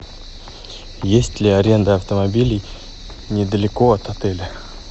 есть ли аренда автомобилей недалеко от отеля